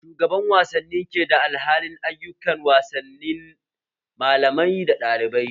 Shugaban wasanni ke da alhakin ayukan wasanni malamai dana ɗalibai